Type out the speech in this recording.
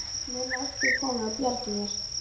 Nema einhver komi og bjargi mér.